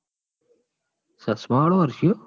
ચશ્માંવાળો હર્ષયો?